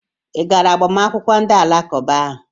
I gara agbamakwụkwọ ndị Alakụba ahụ?